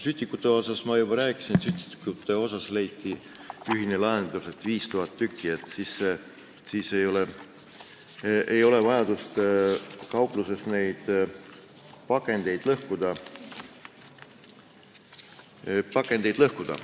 Sütikutest ma juba rääkisin, leiti ühine lahendus, et neid võib olla 5000 tükki, siis ei ole vaja kaupluses pakendeid lõhkuda.